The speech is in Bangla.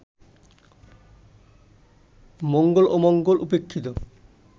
মঙ্গল-অমঙ্গল উপেক্ষিত